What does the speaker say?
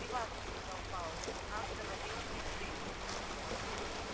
не важно сказал пауэлл нас завалило при взрыве